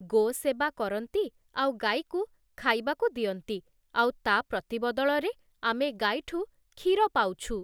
ଗୋ'ସେବା କରନ୍ତି ଆଉ ଗାଈକୁ ଖାଇବାକୁ ଦିଅନ୍ତି ଆଉ ତା' ପ୍ରତିବଦଳରେ ଆମେ ଗାଈଠୁ କ୍ଷୀର ପାଉଛୁ ।